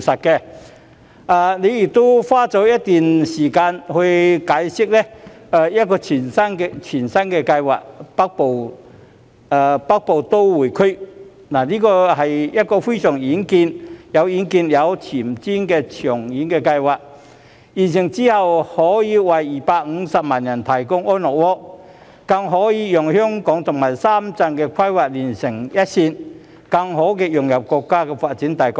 特首亦花了一段時間解釋一項全新的計劃——北部都會區，這是一項非常有遠見、有前瞻的長遠計劃，完成後可以為250萬人提供安樂窩，更可讓香港與深圳的規劃連成一線，更好地融入國家發展大局。